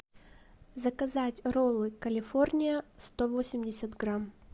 заказать роллы калифорния сто восемьдесят грамм